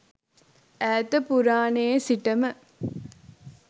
ඈත පුරාණයේ සිටම